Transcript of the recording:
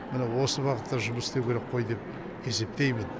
міне осы бағытта жұмыс істеу керек қой деп есептеймін